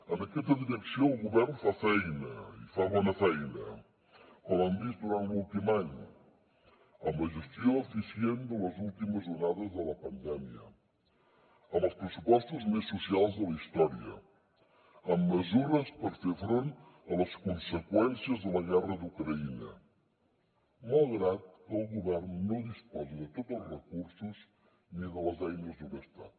en aquesta direcció el govern fa feina i fa bona feina com hem vist durant l’últim any amb la gestió eficient de les últimes onades de la pandèmia amb els pressupostos més socials de la història amb mesures per fer front a les conseqüències de la guerra d’ucraïna malgrat que el govern no disposa de tots els recursos ni de les eines d’un estat